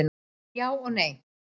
Já og nei.